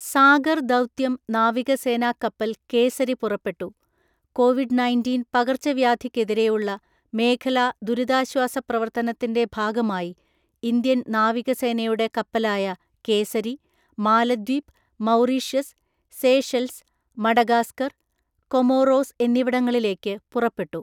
സാഗർ ദൗത്യം നാവികസേനാ കപ്പല് കേസരി പുറപ്പെട്ടു കോവിഡ് നയന്‍റീന്‍ പകർച്ചവ്യാധിക്കെതിരെയുള്ള മേഖലാ ദുരിതാശ്വാസ പ്രവർത്തനത്തിന്റെ ഭാഗമായി ഇന്ത്യൻ നാവികസേനയുടെ കപ്പലായ Kesari, Maldives, Mauritius, Seychelles, Madagascar, Comoros എന്നിവിടങ്ങളിലേക്ക് പുറപ്പെട്ടു.